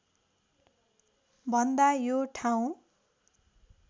भन्दा यो ठाउँ